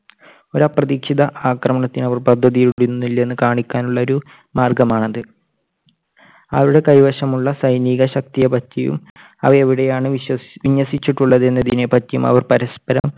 ഒരു അപ്രതീക്ഷിത ആക്രമണത്തിന് അവർ പദ്ധതി ഇടുന്നില്ല എന്ന് കാണിക്കാനുള്ള ഒരു മാർഗ്ഗമാണത്. അവരുടെ കൈവശമുള്ള സൈനിക ശക്തിയെപറ്റിയും അവ എവിടെയാണ് വിശ്വ~വിന്യസിച്ചിട്ടുള്ളത് എന്നതിനെ പറ്റിയും അവർ പരസ്പരം